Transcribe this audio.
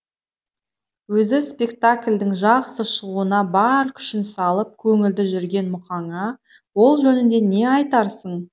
өзі спектакльдің жақсы шығуына бар күшін салып көңілді жүрген мұқаңа ол жөнінде не айтарсың